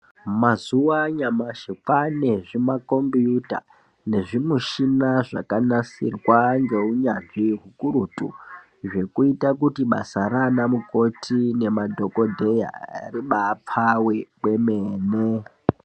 Mazuva anyamashi kwane zvimakobiyuta nezvimuchina zvakanasirwa ngeunyanzvi hukurutu, zvekuita kuti basa ranamukoti nemadhongodheya rebapfave kwemene.